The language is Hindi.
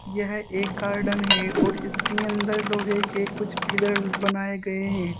यह एक गार्डन है और इसके अंदर लोहे के कुछ पिलर बनाए गए हैं।